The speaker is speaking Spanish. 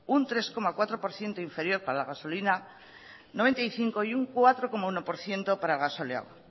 un tres coma cuatro por ciento inferior para la gasolina noventa y cinco y un cuatro coma uno por ciento para el gasóleo